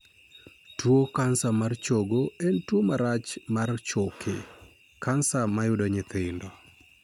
Tuo kansa mar chogo en tuo marach mar choke (kansa) ma yudo nyithindo.